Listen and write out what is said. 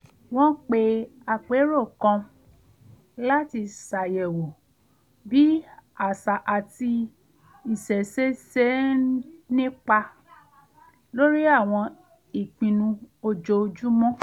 wọ́n pe àpérò kan láti ṣàyẹ̀wò bí àṣà àti ìṣẹ̀ṣe ṣe ń nípa lórí àwọn ìpinnu ojoojúmọ́